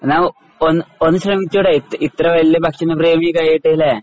എന്നാ ഒന്ന് ഒന്നു ശ്രമിച്ചു കൂടെ ഇത്ര വല്യ ഭക്ഷണ പ്രേമി ഒക്കെയായിട്ട് അല്ലേ?